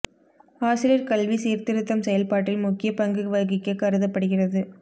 ஆசிரியர் கல்வி சீர்திருத்தம் செயல்பாட்டில் முக்கிய பங்கு வகிக்க கருதப்படுகிறது